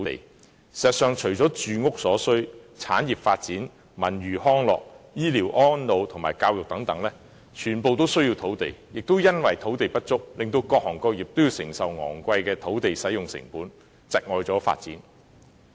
事實上，除了住屋所需，產業發展、文娛康樂、醫療安老和教育等全部均需要土地，亦由於土地不足，各行各業也要承受昂貴的土地使用成本，窒礙發展。